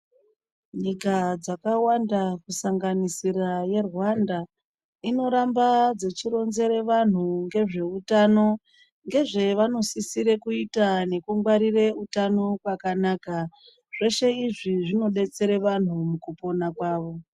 Nyika dzakawanda kusanganisira yeRwanda, inoramba dzechironzere vanhu ngezvewutano, ngezvevanosisire kuyita ngekungwarire wutano wakanaka. Zvese izvi zvinodetsere vanhu mukupona kwavo.